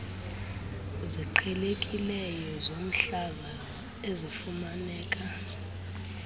ziqhelekileyo zomhlaza ezifumaneka